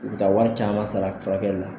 U be taa wari caman sara furakɛli la